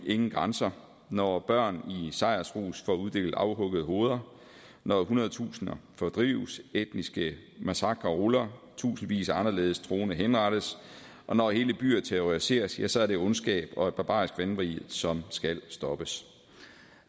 ingen grænser når børn i sejrsrus får uddelt afhuggede hoveder når hundredtusinder fordrives etniske massakrer ruller tusindvis af anderledes troende henrettes og når hele byer terroriseres ja så er det ondskab og et barbarisk vanvid som skal stoppes